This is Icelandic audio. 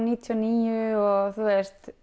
níutíu og níu og